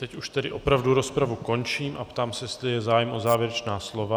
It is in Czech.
Teď už tedy opravdu rozpravu končím a ptám se, jestli je zájem o závěrečná slova.